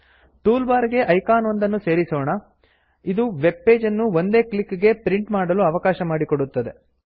tool bar ಗೆ icon ಒಂದನ್ನು ಸೇರಿಸೊಣ ಇದು ವೆಬ್ ಪೇಜ್ ಅನ್ನು ಒಂದೇ ಕ್ಲಿಕ್ ಗೆ ಪ್ರಿಂಟ್ ಮಾಡಲು ಅವಕಾಶ ಮಾಡಿಕೊಡುತ್ತದೆ